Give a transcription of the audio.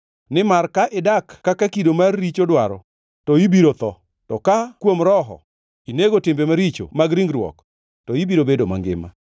Nimar ka idak kaka kido mar richo dwaro, to ibiro tho; to ka kuom Roho, inego timbe maricho mag ringruok, to ibiro bedo mangima.